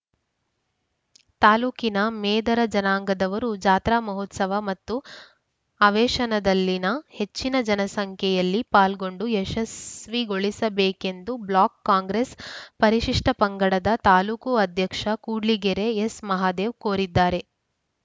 ತಾಲೂಕಿನ ಮೇದರ ಜನಾಂಗದವರು ಜಾತ್ರಾ ಮಹೋತ್ಸವ ಮತ್ತು ಅವೇಶನದಲ್ಲಿನ ಹೆಚ್ಚಿನ ಸಂಖ್ಯೆಯಲ್ಲಿ ಪಾಲ್ಗೊಂಡು ಯಶಸ್ವಿಗೊಳಿಸಬೇಕೆಂದು ಬ್ಲಾಕ್‌ ಕಾಂಗ್ರೆಸ್‌ ಪರಿಶಿಷ್ಟಪಂಗಡದ ತಾಲೂಕು ಅಧ್ಯಕ್ಷ ಕೂಡ್ಲಿಗೆರೆ ಎಸ್‌ ಮಹಾದೇವ್‌ ಕೋರಿದ್ದಾರೆ